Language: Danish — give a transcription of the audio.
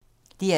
DR2